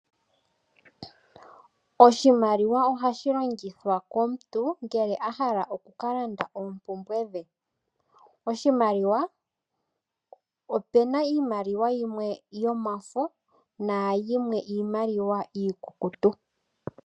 Oshimaliwa ohashi longithwa komuntu ngele ahala oku kalanda oopumbwe dhe. Opuna iimaliwa yimwe yomafo nayimwe iimaliwa iikukutu.